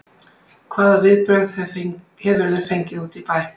Hvaða viðbrögð hefurðu fengið úti í bæ?